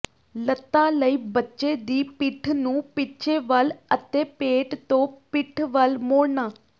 ਲੱਤਾਂ ਲਈ ਬੱਚੇ ਦੀ ਪਿੱਠ ਨੂੰ ਪਿੱਛੇ ਵੱਲ ਅਤੇ ਪੇਟ ਤੋਂ ਪਿੱਠ ਵੱਲ ਮੋੜਨਾ